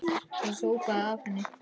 Það sópaði af henni.